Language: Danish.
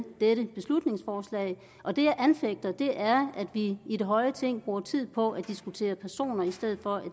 dette beslutningsforslag og det jeg anfægter er at vi i det høje ting bruger tid på at diskutere personer i stedet for at